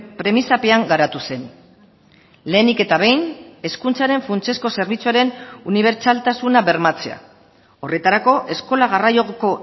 premisapean garatu zen lehenik eta behin hezkuntzaren funtsezko zerbitzuaren unibertsaltasuna bermatzea horretarako eskola garraioko